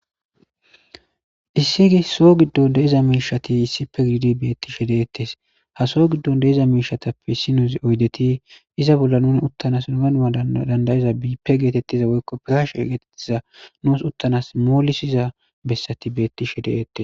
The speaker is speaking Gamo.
issigi so giddon deeza miishati issippe giidi beettishe deettes ha so giddon deeza miishatappe issinuzi oydeti iza bolla nuni uttanas nogana7a dandayiza biippe geetettiza woykko piraashe egetettiza nuus uttanas moolisiza bessati beetti she deettes